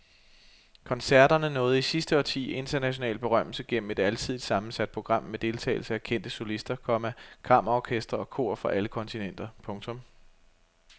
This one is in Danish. Koncerterne nåede i sidste årti international berømmelse gennem et alsidigt sammensat program med deltagelse af kendte solister, komma kammerorkestre og kor fra alle kontinenter. punktum